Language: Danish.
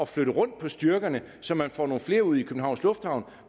flytte rundt på styrkerne så man får nogle flere ud i københavns lufthavn